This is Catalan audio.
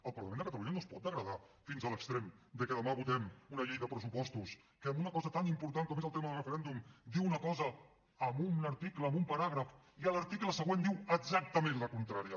el parlament de catalunya no es pot degradar fins a l’extrem de que demà votem una llei de pressupostos que en una cosa tan important com és el tema del referèndum diu una cosa en un article en un paràgraf i a l’article següent diu exactament la contrària